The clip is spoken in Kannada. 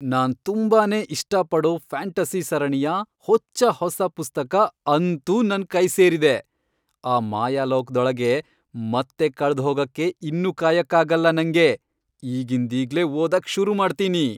ನಾನ್ ತುಂಬಾನೇ ಇಷ್ಟಪಡೋ ಫ್ಯಾಂಟಸಿ ಸರಣಿಯ ಹೊಚ್ಚ ಹೊಸ ಪುಸ್ತಕ ಅಂತೂ ನನ್ ಕೈ ಸೇರಿದೆ. ಆ ಮಾಯಾಲೋಕ್ದೊಳಗೆ ಮತ್ತೆ ಕಳ್ದ್ಹೋಗಕ್ಕೆ ಇನ್ನು ಕಾಯಕ್ಕಾಗಲ್ಲ ನಂಗೆ, ಈಗಿಂದೀಗ್ಲೇ ಓದೋಕ್ ಶುರುಮಾಡ್ತೀನಿ.